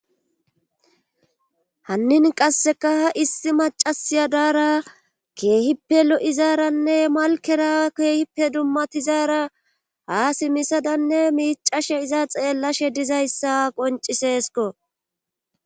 Hannin qasseka ha issi macasiya daara keehippe lo7izaaranne malkera keehippe dummatizaara haa simisadanne miicashe iza xeellashe dizayssa qonciseesko.